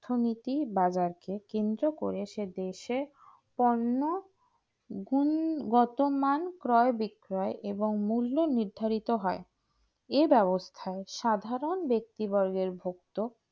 অর্থনীতি বাজারকে কেন্দ্র করে সেই দেশে পণ্য গুণগতমান কয় বিক্রয় এবং মূল্য নির্ধারিত হয় এ ব্যবস্থায় সাধারণ ব্যক্তির ভক্ত